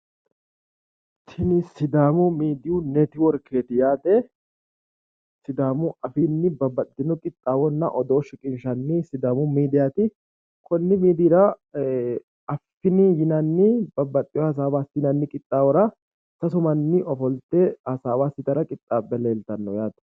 Tini sidaamu miidiyu nitiworkeeti yaate, sidaamu afiinni babbaxxitino qixxaawonna odoonna shiqishshanni sidaamu miidiyaati, konni miidiiyira affini yinanni babbaxxewo hasaawa assinanni qixxaawora sasu manni ofolte hasaawa assitara qixxaabbe leelhawarrootiaa yaate